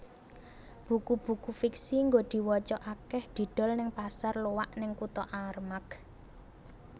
Buku buku fiksi nggo diwoco akeh didol ning pasar loak ning kuto Armargh